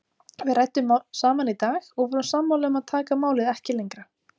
Við ræddum saman í dag og vorum sammála um að taka málið ekki lengra.